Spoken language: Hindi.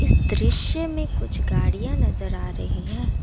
इस दृश्य में कुछ गाड़ियां नजर आ रही हैं।